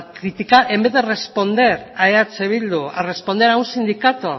criticar en vez de responder a eh bildu a responder a un sindicato